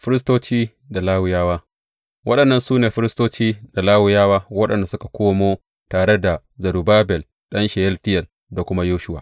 Firistoci da Lawiyawa Waɗannan su ne firistoci da Lawiyawa waɗanda suka komo tare da Zerubbabel ɗan Sheyaltiyel da kuma Yeshuwa.